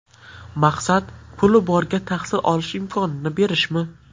Maqsad puli borga tahsil olish imkonini berishmi?